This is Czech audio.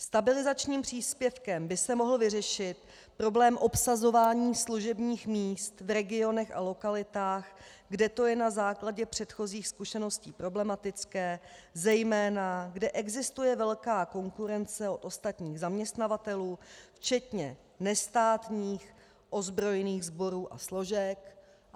Stabilizačním příspěvkem by se mohl vyřešit problém obsazování služebních míst v regionech a lokalitách, kde to je na základě předchozích zkušeností problematické, zejména kde existuje velká konkurence u ostatních zaměstnavatelů včetně nestátních ozbrojených sborů a složek.